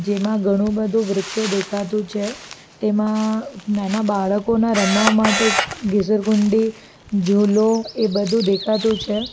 જેમાં ઘણું બધું વૃક્ષો દેખાતું છે તેમાં નાના બાળકોના રમવા માટે ગીસર ગુંડી જોલો એ બધું દેખાતું છે.